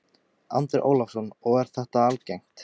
Andri Ólafsson: Og er þetta algengt?